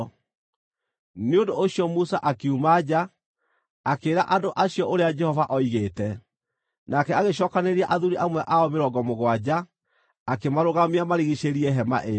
Nĩ ũndũ ũcio Musa akiuma nja, akĩĩra andũ acio ũrĩa Jehova oigĩte. Nake agĩcookanĩrĩria athuuri amwe ao mĩrongo mũgwanja, akĩmarũgamia marigiicĩirie Hema ĩyo.